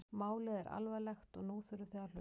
Málið er alvarlegt og nú þurfið þið að hlusta?